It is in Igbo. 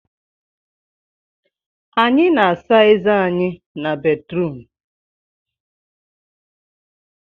Anyị na-asa ezé anyị n'batrum